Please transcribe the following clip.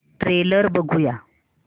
trailer बघूया